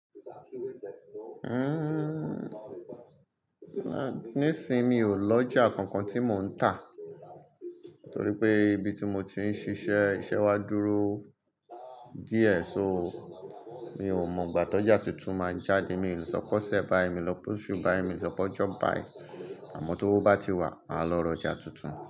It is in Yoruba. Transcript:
Nísin mi ò lọjà kankan tí mò ń tà, torí pé ibi tí mo ti ń ṣíṣe iṣẹ́ wa dúró díẹ̀. So, mi ò mọ ìgbà tó ọjà tuntun máa jáde. Mi ò le sọ pe ọ̀sẹ̀ bá, mi le sọ pé oṣú bái mi le sọ pé ọjọ bái. Àmọ́ t'owo bá ti wà, màá lọ r'ọjà tuntun.